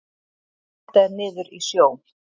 Þetta er niður í sjó.